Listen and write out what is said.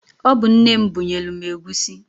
Ọ bu nne m bunyelu egwusi.